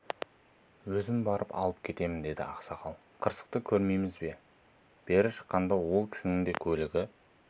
өзім барып алып кетемін деді ақсақал қырсықты көрмейсіз бе бері шыққанда ол кісінің де көлігі